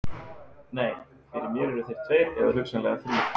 Nei, fyrir mér eru þeir tveir eða hugsanlega þrír.